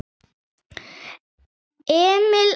Emil Als.